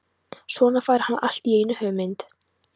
Svo fær hann allt í einu hugmynd.